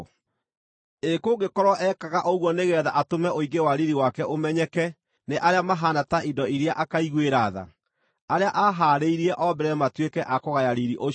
Ĩ kũngĩkorwo ekaga ũguo nĩgeetha atũme ũingĩ wa riiri wake ũmenyeke nĩ arĩa mahaana ta indo iria akaiguĩra tha, arĩa aahaarĩirie o mbere matuĩke a kũgaya riiri ũcio,